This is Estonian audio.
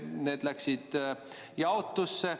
Need läksid jaotusse.